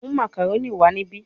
Mu macaroni wa nibi